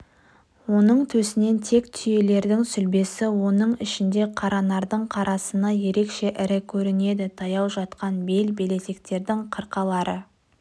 оның төсінен тек түйелердің сүлбесі оның ішінде қаранардың қарасыны ерекше ірі көрінеді таяу жатқан бел-белестердің қырқалары